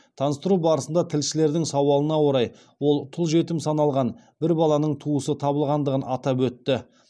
таныстыру барысында тілшілердің сауалына орай ол тұл жетім саналған бір баланың туысы табылғандығын атап өтті